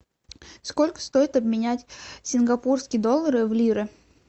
сколько стоит обменять сингапурские доллары в лиры